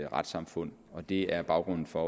retssamfund det er baggrunden for